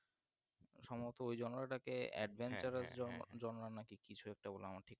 সম্ভবত ওই ওটাকে কিছু একটা